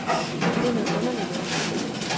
Det er noget underligt noget.